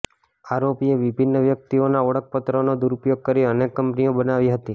આરોપીએ વિભિન્ન વ્યક્તિઓના ઓળખપત્રોનો દુરુપયોગ કરી અનેક કંપનીઓ બનાવી હતી